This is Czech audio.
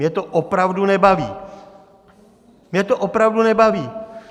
Mě to opravdu nebaví, mě to opravdu nebaví.